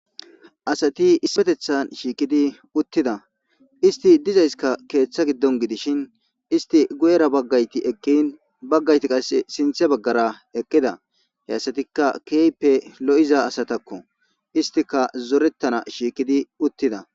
Asati ispetethan shiikidi uttida isti dizayska keeththa giddon gidishin isti guyera baggayti eqkin baggayti qase sinthe baggara eqqida he asatikka keeype lo'iza asatakko istika zorettana shiikidi uttida.